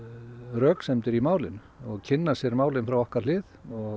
röksemdir í málinu og kynna sér málið frá okkar hlið